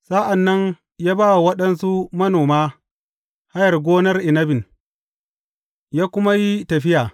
Sa’an nan ya ba wa waɗansu manoma hayar gonar inabin, ya kuma yi tafiya.